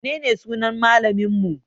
Menene sunan malaminmu?